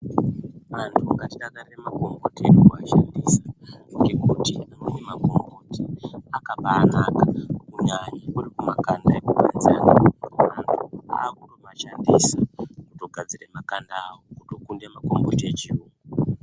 Anthu ngatidakarire makomboti edu kuashandisa, ngekuti mune makomboti akabaanaka, kunyanya kuri kumakanda, anthu aakutomashandisa kutogadzirire makanda awo, kukunda yechiyungu.